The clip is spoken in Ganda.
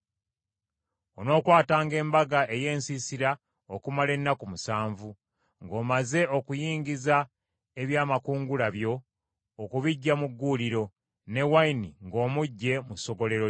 Onookwatanga Embaga ey’Ensiisira okumala ennaku musanvu ng’omaze okuyingiza ebyamakungula byo okubiggya mu gguuliro, ne wayini ng’omuggye mu ssogolero lyo.